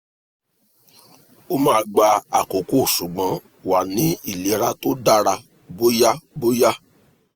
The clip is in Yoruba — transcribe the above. o ma gba akoko ṣugbọn wa ni ilera to dara boya boya